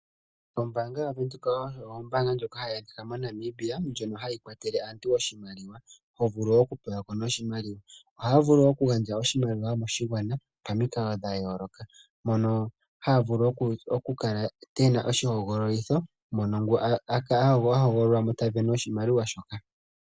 Ombanga yaVenduka oyo ombanga lyoka ha yi adhika moNamibia noha yi kwatele aantu mokupungulila iimaliwa ya wo. Ombanga ndjika oha yi vulu oku gandja oshimaliwa koshigwana pamikalo dha yo loka ngashi oku kala puna oshihogololitho nangoka ta hogololwamo ota pewa oshimaliwa shoka.